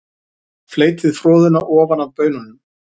Fleytið froðuna ofan af baununum.